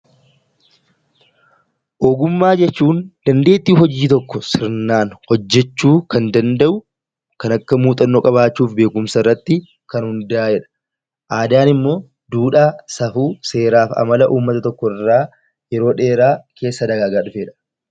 Ogummaa jechuun dandeettii hojii tokko sirnaan hojjechuu kan danda'u kan akka muuxannoo qabaachuuf beekumsa irratti kan hundaa'e dha. Aadaan immoo duudhaa, safuu, seeraaf amala uummata tokkoo irraa yeroo dheeraa keessa dagagaa dhufe dha.